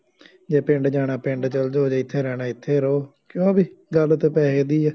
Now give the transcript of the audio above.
ਜੇ ਪਿੰਡ ਜਾਣਾ ਪਿੰਡ ਚੱਲ ਜਾਉ, ਜੇ ਇੱਥੇ ਰਹਿਣਾ ਇੱਥੇ ਰਹੋ, ਕਿਉਂ ਬਈ, ਗੱਲ ਤਾਂ ਪੈਸੇ ਦੀ ਆ,